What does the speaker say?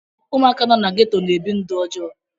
Ụmụaka nọ na geto na-ebi ndụ ọjọọ.